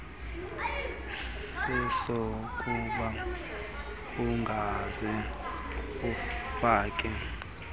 sesokuba ungaze ufake